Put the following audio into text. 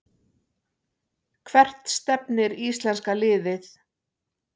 Hvert stefnir íslenska liðið